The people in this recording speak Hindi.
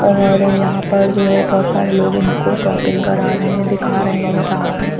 और यहाँ पर जो है बहुत सारे लोग इनको शॉपिंग करा रहे है दिखा रहे है सामान।